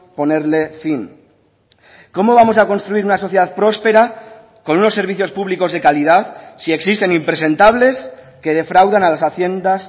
ponerle fin cómo vamos a construir una sociedad prospera con unos servicios públicos de calidad si existen impresentables que defraudan a las haciendas